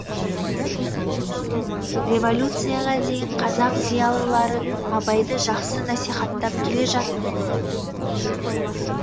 революцияға дейін қазақ зиялылары абайды жақсы насихаттап келе жатты